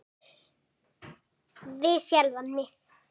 Við sjálfan mig.